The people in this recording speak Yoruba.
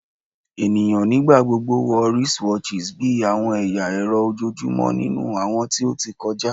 Eniyan nigbagbogbo wọ wristwatchs bi awọn ẹya ẹrọ ojoojumọ ninu awọn ti o ti kọja